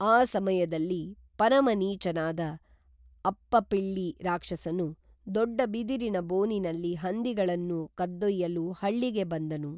ಆ ಸಮಯದಲ್ಲಿ ಪರಮನೀಚನಾದ ಅಪ್ಪಪಿಳ್ಳಿ ರಾಕ್ಷಸನು ದೊಡ್ಡ ಬಿದಿರಿನ ಬೋನಿನಲ್ಲಿ ಹಂದಿಗಳನ್ನು ಕದ್ದೊಯ್ಯಲು ಹಳ್ಳಿಗೆ ಬಂದನು